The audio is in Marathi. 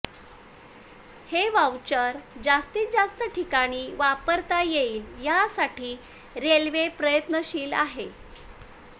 हे व्हाऊचर जास्तीत जास्त ठिकाणी वापरता येईल यासाठी रेल्वे प्रयत्नशील आहे